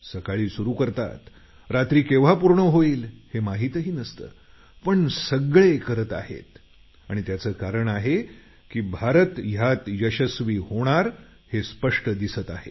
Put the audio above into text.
सकाळी सुरू करतात रात्री केव्हा पूर्ण होईल हे माहितही नसतं पण सगळे करत आहेत आणि त्याचं कारण आहे की भारत यात यशस्वी होणार हे स्पष्ट दिसत आहे